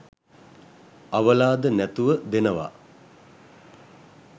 අවලාද නැතුව දෙනව